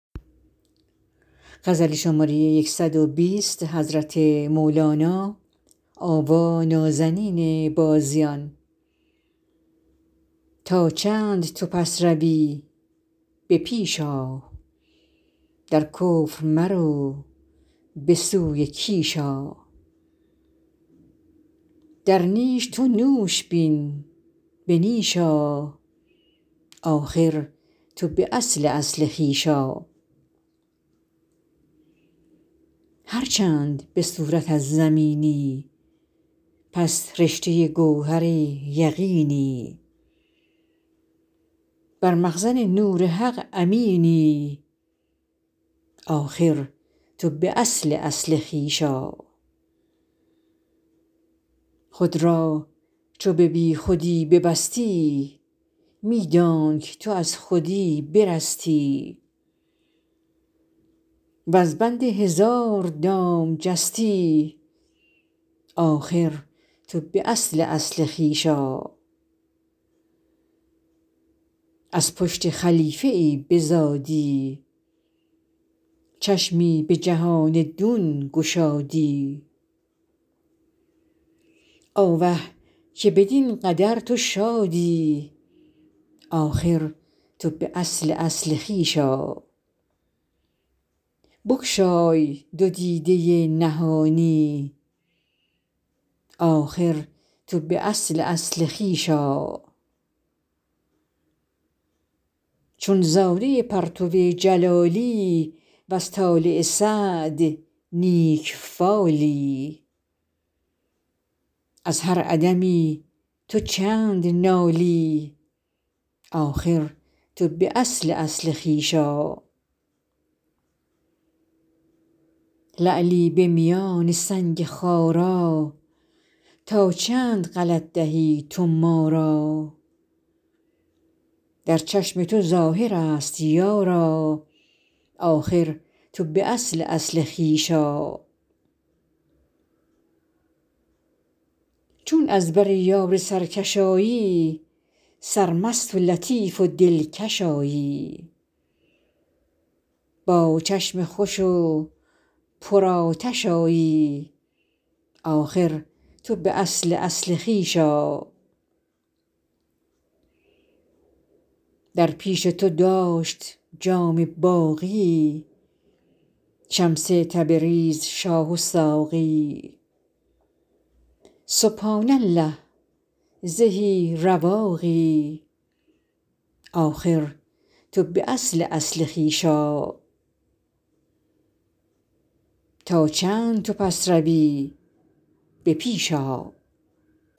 تا چند تو پس روی به پیش آ در کفر مرو به سوی کیش آ در نیش تو نوش بین به نیش آ آخر تو به اصل اصل خویش آ هر چند به صورت از زمینی پس رشته گوهر یقینی بر مخزن نور حق امینی آخر تو به اصل اصل خویش آ خود را چو به بی خودی ببستی می دانک تو از خودی برستی وز بند هزار دام جستی آخر تو به اصل اصل خویش آ از پشت خلیفه ای بزادی چشمی به جهان دون گشادی آوه که بدین قدر تو شادی آخر تو به اصل اصل خویش آ هر چند طلسم این جهانی در باطن خویشتن تو کانی بگشای دو دیده نهانی آخر تو به اصل اصل خویش آ چون زاده پرتو جلالی وز طالع سعد نیک فالی از هر عدمی تو چند نالی آخر تو به اصل اصل خویش آ لعلی به میان سنگ خارا تا چند غلط دهی تو ما را در چشم تو ظاهر ست یارا آخر تو به اصل اصل خویش آ چون از بر یار سرکش آیی سرمست و لطیف و دلکش آیی با چشم خوش و پر آتش آیی آخر تو به اصل اصل خویش آ در پیش تو داشت جام باقی شمس تبریز شاه و ساقی سبحان الله زهی رواقی آخر تو به اصل اصل خویش آ